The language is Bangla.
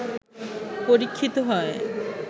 পরীক্ষিত হয়